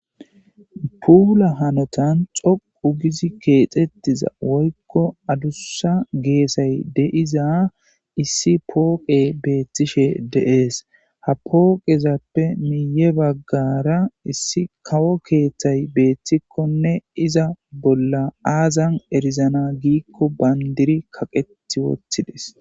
Puula hanotan xoqu gizi keexettiza woykko adussa geesay deiza issi pooqe beethtishe deees ha pooqezappe miiye baggara issi kawo keeththay beeththikkonne iza bolla aazan erizana giikko bayndiri kaqetti woththides.